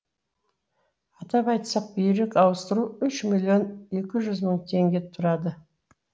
атап айтсақ бүйрек ауыстыру үш миллион екі мың теңге тұрады